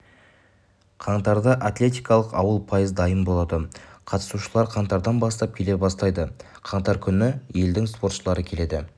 қаңтарда атлетикалық ауыл пайыз дайын болады қатысушылар қаңтардан бастап келе бастайды қаңтар күні елдің спортшылары келеді